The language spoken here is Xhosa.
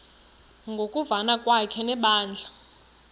ngokuvana kwakhe nebandla